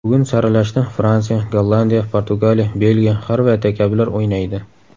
Bugun saralashda Fransiya, Gollandiya, Portugaliya, Belgiya, Xorvatiya kabilar o‘ynaydi.